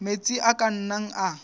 metsi a ka nnang a